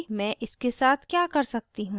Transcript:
अब देखते हैं कि मैं इसके साथ क्या कर सकती हूँ